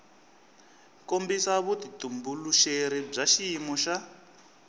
kombisa vutitumbuluxeri bya xiyimo xa